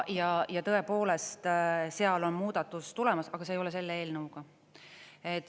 Ja tõepoolest, seal on muudatus tulemas, aga see ei ole selle eelnõuga.